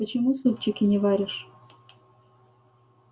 почему супчики не варишь